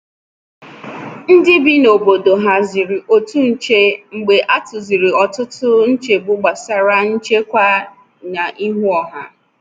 Ndị bi n’obodo haziri otu nche mgbe a tụziri ọtụtụ nchegbu gbasara nchekwa n’ihu ọha.